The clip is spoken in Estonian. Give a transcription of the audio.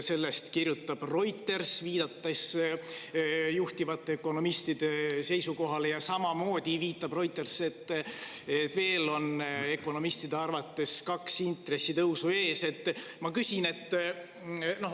Sellest kirjutab Reuters, viidates juhtivate ökonomistide seisukohale, ja samamoodi viitab Reuters, et ökonomistide arvates on ees veel kaks intressi.